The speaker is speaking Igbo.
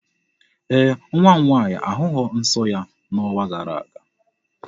Ee, nwa m nwaanyị ahụghị nsọ ya n'ọnwa gara aga.